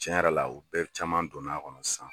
Cɛn yɛrɛ la, u bɛɛ caman donna a kɔnɔ sisan